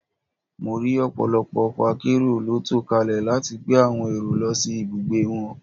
Mo rí ọ̀pọ̀lọpọ̀ ọkọ̀ akérò ló tò kalẹ̀ láti gbé àwòn èrò lọ sí ibùgbé wọn